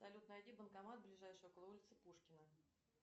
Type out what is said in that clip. салют найди банкомат ближайший около улицы пушкина